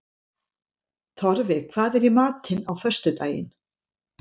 Torfi, hvað er í matinn á föstudaginn?